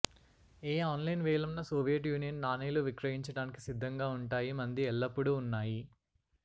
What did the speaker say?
ఏ online వేలం న Soviet Union నాణేలు విక్రయించడానికి సిద్ధంగా ఉంటాయి మంది ఎల్లప్పుడూ ఉన్నాయి